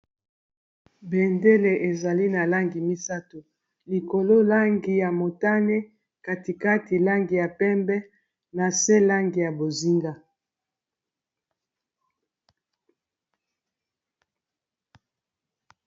bendele ezali na langi misato likolo langi ya motane katikati langi ya pembe na se langi ya bozinga